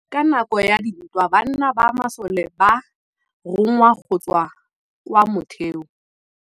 Ka nakô ya dintwa banna ba masole ba rongwa go tswa kwa mothêô.